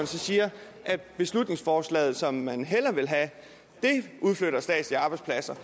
så siger at beslutningsforslaget som man hellere vil have udflytter statslige arbejdspladser